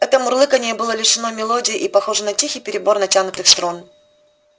это мурлыканье было лишено мелодии и похоже на тихий перебор натянутых струн